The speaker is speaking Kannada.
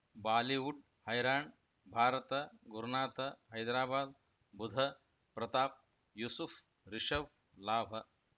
ಬಾಲಿವುಡ್ ಹೈರಾಣ್ ಭಾರತ ಗುರುನಾಥ ಹೈದರಾಬಾದ್ ಬುಧ ಪ್ರತಾಪ್ ಯೂಸುಫ್ ರಿಷಬ್ ಲಾಭ